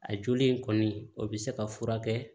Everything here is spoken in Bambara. A joli in kɔni o bɛ se ka furakɛ